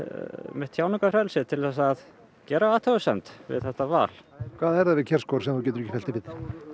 mitt tjáningarfrelsi til þess að gera athugasemd við þetta val hvað er það við Kjærsgaard sem þú getur ekki fellt þig við